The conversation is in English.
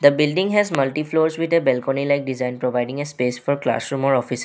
The building has multi floors with a balcony like design providing a space for classroom or office